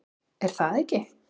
Er það ekki